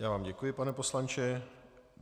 Já vám děkuji, pane poslanče.